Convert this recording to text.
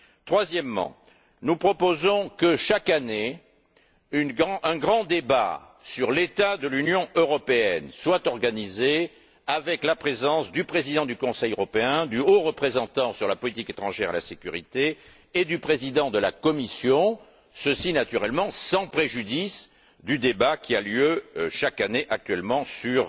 Troisièmement, nous proposons que, chaque année, un grand débat sur l'état de l'Union européenne soit organisé en présence du président du Conseil européen, du haut représentant pour les affaires étrangères et la politique de sécurité et du président de la Commission, ceci naturellement sans préjudice du débat qui a lieu chaque année actuellement sur